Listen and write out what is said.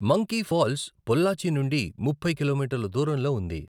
Monkey Falls Pollachi నుండి ముప్పై కిలోమీటర్ల దూరంలో ఉంది.